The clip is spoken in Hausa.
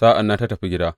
Sa’an nan ta tafi gida.